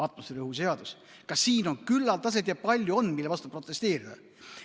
Atmosfääriõhu seadus – ka siin on küllaldaselt ja palju seda, mille vastu protesteerida.